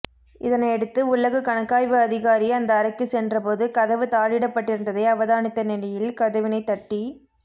இதனையடுத்து உள்ளக கணக்காய்வு அதிகாரி அந்த அறைக்கு சென்றபோது கதவு தாளிடப்படிருந்ததை அவதானித்த நிலையில் கதவினை தட்டி